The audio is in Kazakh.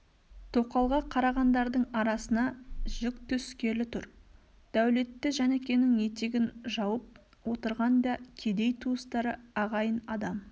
тоқалға қарағандардың арасына жік түскелі тұр дәулетті жәнікенің етегін жауып отырған да кедей туыстары ағайын адам